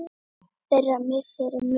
Þeirra missir er mikill.